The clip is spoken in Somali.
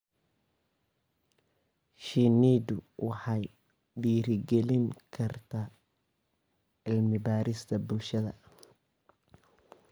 Shinnidu waxay dhiirigelin kartaa cilmi-baarista bulshada.